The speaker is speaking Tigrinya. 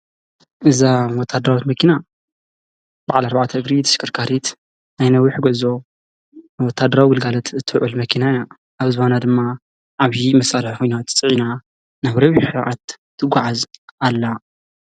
እዛ ወታደራዊት መኪና ባዓል ኣርባዕተ እግሪ ተሽከርካሪት ናይ ነዊሕ ጉዕዞ ንወታደራዊ ግልጋሎት ትውዕል መኪና እያ። ኣብ ዝባና ድማ ዓብዪ መሳረርያ ኲናት ፅዒና ናብ ነዊሕ ርሕቐት ትጉዓዝ ኣላ።